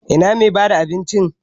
Ina mai bada abincin?